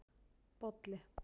Bolli